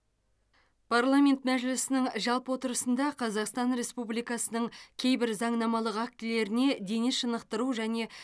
парламент мәжілісінің жалпы отырысында қазақстан республикасының кейбір заңнамалық актілеріне дене шынықтыру және